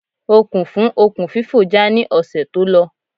Okùn fún okùn fífò já ní ọ̀sẹ̀ tó lọ